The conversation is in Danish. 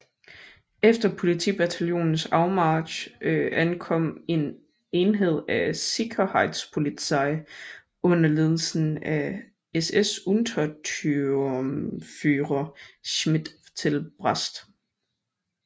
Efter politietbataljonens afmarch ankom en enhed af Sicherheitspolizei under ledelse af SS Untersturmführer Schmidt til Brest